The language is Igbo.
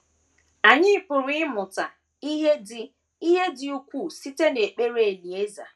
Anyị pụrụ ịmụta ihe dị ihe dị ukwuu site n’ekpere Elieza.